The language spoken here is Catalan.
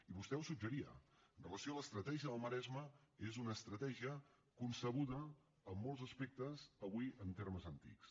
i vostè ho suggeria amb relació a l’estratègia del maresme que és una estratègia concebuda en molts aspectes avui en termes antics